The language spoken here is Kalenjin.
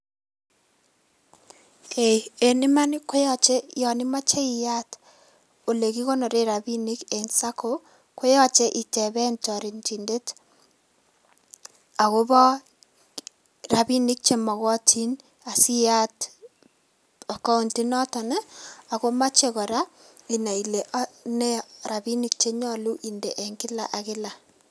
Eng iman ko yache yon imache iyat ole kikonoren robinik eng sacco ko yache iteben toretidet akobo robinik che makatin asiyat accountit noton, ako mache kora inai ile robinik che nyolu inde eng kila ak kila.